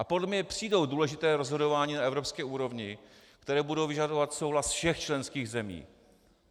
A podle mě přijdou důležitá rozhodování na evropské úrovni, která budou vyžadovat souhlas všech členských zemí.